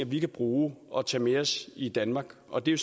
vi kan bruge og tage med os i danmark og det er